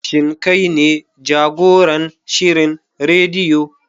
Shin kai ne jagoran shirin rediyo?